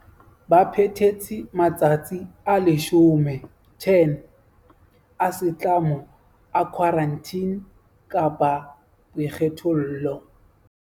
Ba phethetse matsatsi a 10 a setlamo a khwarantine kapa a boikgethollo.